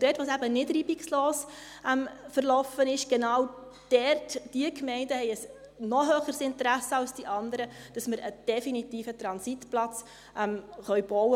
Und dort, wo es eben nicht reibungslos verlief, genau diese Gemeinden haben ein noch höheres Interesse als die anderen, dass wir einen definitiven Transitplatz bauen können.